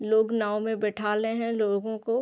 लोग नाव में बैठा लेहे है लोगो को--